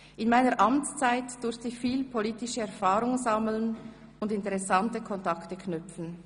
In meiner Amtszeit durfte ich viel politische Erfahrung sammeln und interessante Kontakte knüpfen.